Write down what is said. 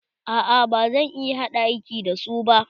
A'a ba zan iya haɗa kai da su ba.